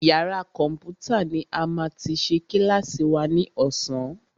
Yàrá kọ̀mpútà ní a máa ti ṣe kílàsì wa ní ọ̀sán.